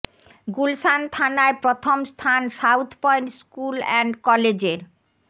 গুলশান থানায় প্রথম স্থান সাউথ পয়েন্ট স্কুল অ্যান্ড কলেজের